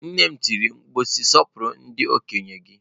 Nne m tiri mkpu si, Sọpụrụ ndị okenye gị!